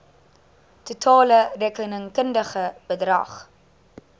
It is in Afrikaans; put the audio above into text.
totale rekenkundige bedrag